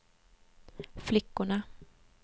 flickorna